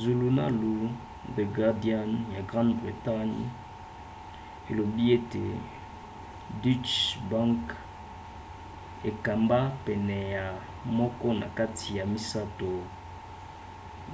zulunalu the guardian ya grande bretagne elobi ete deutsche bank ekamba pene ya moko na kati ya misato